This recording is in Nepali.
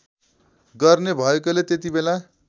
गर्ने भएकोले त्यतिबेला